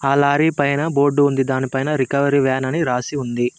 ఆ లారి పైన బోర్డు ఉంది దానిపైన రికవరీ వ్యాన్ అని రాసి ఉంది.